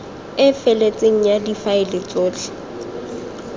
e feletseng ya difaele tsotlhe